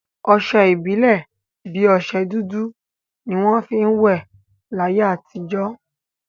Ọsẹ ìbílè bi ọsẹ dúdú ni wọn fi ń will láyé àtijọ́